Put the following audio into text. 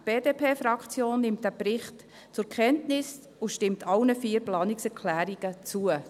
Die BDP-Fraktion nimmt diesen Bericht zur Kenntnis und stimmt allen vier Planungserklärungen zu.